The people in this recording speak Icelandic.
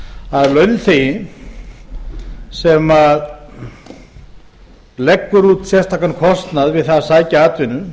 að launþegi sem leggur út sérstakan kostnað við það að sækja atvinnu